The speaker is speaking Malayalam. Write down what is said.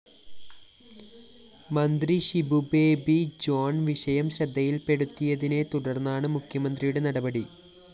മന്ത്രി ഷിബുബേബി ജോൺ വിഷയം ശ്രദ്ധയില്‍പ്പെടുത്തിയതിനെത്തുടര്‍ന്നാണ് മുഖ്യമന്ത്രിയുടെ നടപടി